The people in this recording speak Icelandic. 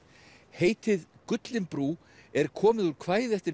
heitið gullinbrú er komið úr kvæði eftir